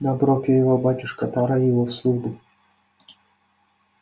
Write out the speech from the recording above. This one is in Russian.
добро прервал батюшка пора его в службу